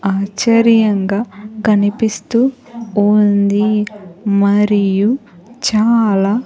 ఆశ్చర్యంగా కనిపిస్తూ ఉంది మరియు చాలా.